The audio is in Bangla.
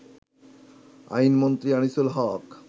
আইনমন্ত্রী আনিসুল হক